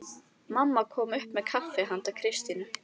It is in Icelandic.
Mamma kom upp með kaffi handa Kristínu.